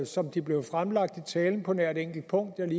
som de blev fremlagt i talen på nær et enkelt punkt